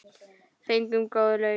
Fengum góð laun.